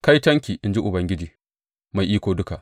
Kaitonki, in ji Ubangiji Mai Iko Duka.